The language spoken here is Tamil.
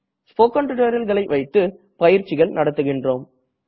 ஸ்போக்கன் tutorialகளை வைத்து பயிற்சிகள் நடத்துகின்றோம்